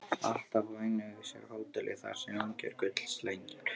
Alltaf og einungis á hótelið, þar sem ungir gullslegnir